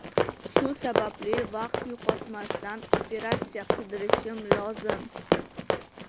Shu sababli vaqt yo‘qotmasdan operatsiya qildirishim lozim.